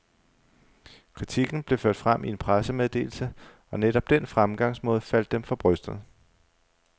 Kritikken blev ført frem i en pressemeddelse, og netop den fremgangsmåde faldt dem for brystet.